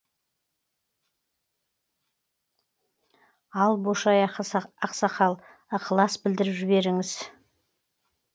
ал бошай ақсақал ықылас білдіріп жіберіңіз